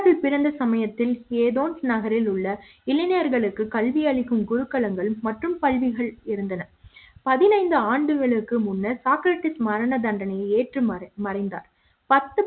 Aristotle பிறந்த சமயத்தில் Athens நகரில் உள்ள இளைஞர்களுக்கு கல்வி அளிக்கும் குழுக்களை குருக்களங்கள் மற்றும் பள்ளிகள் இருந்தன பதினைந்து ஆண்டுகளுக்கு முன்னர் சாக்ரட்டிஸ் மரண தண்டனையை ஏற்றுமாறு மறைந்தார்